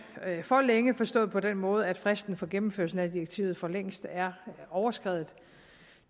for længe forstået på den måde at fristen for gennemførelsen af direktivet for længst er overskredet